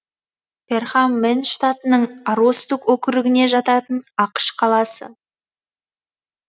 перхам мэн штатының аростук округіне жататын ақш қаласы